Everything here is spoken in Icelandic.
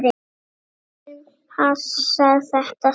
Karen: Passar þetta saman?